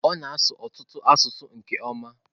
Ọ na-asụ ọtụtụ asụsụ nke ọma.